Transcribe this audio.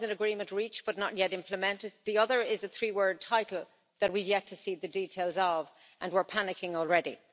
One is an agreement reached but not yet implemented, the other is a three word title that we've yet to see the details of, and we're panicking already.